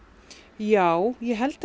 já ég held